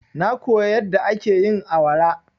Na koya yadda ake yin awara.